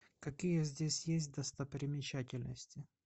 какие здесь есть достопримечательности